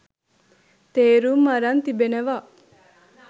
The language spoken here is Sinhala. තේරුම් අරන් තිබෙනවා